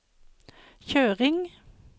kjøring